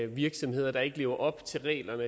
virksomheder der ikke lever op til reglerne